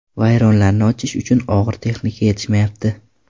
Vayronlarni ochish uchun og‘ir texnika yetishmayapti.